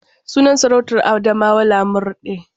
Sunan sarautar Adamawa Lamurɗe.